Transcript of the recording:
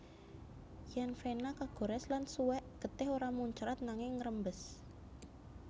Yèn vena kagorès lan suwèk getih ora muncrat nanging ngrembes